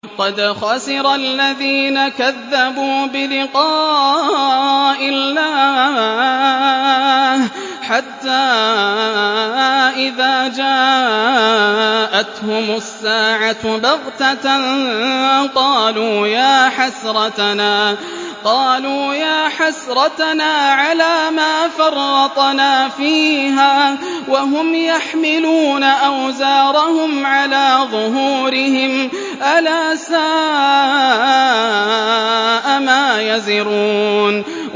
قَدْ خَسِرَ الَّذِينَ كَذَّبُوا بِلِقَاءِ اللَّهِ ۖ حَتَّىٰ إِذَا جَاءَتْهُمُ السَّاعَةُ بَغْتَةً قَالُوا يَا حَسْرَتَنَا عَلَىٰ مَا فَرَّطْنَا فِيهَا وَهُمْ يَحْمِلُونَ أَوْزَارَهُمْ عَلَىٰ ظُهُورِهِمْ ۚ أَلَا سَاءَ مَا يَزِرُونَ